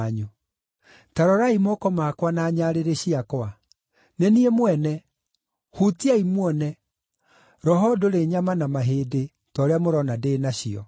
Ta rorai moko makwa na nyarĩrĩ ciakwa. Nĩ niĩ mwene! Huutiai muone; roho ndũrĩ nyama na mahĩndĩ, ta ũrĩa mũrona ndĩ nacio.”